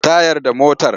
Tayar da motar!